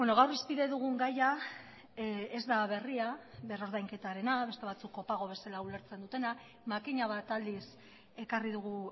gaur hizpide dugun gaia ez da berria berrordainketarena beste batzuk kopago bezala ulertzen dutena makina bat aldiz ekarri dugu